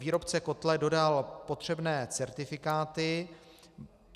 Výrobce kotle dodal potřebné certifikáty.